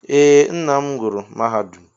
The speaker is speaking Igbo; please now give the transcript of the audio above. Ee, nnam gụrụ mahadum.